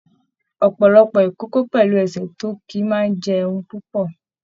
Ọpọlọpọ ikòkò pẹlú ẹsẹ tó kí máa n jẹun púpọ.